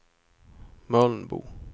Mölnbo